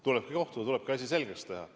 Tulebki kohtuda, tulebki asi selgeks teha.